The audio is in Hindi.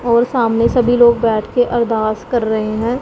और सामने सभी लोग बैठ के अरदास कर रहे हैं।